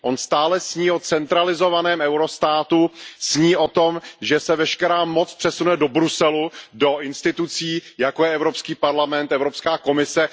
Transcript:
On stále sní o centralizovaném eurostátu, sní o tom, že se veškerá moc přesune do Bruselu, do institucí, jako je Evropský parlament, Evropská komise.